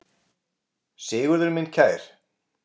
Sigurður minn kær.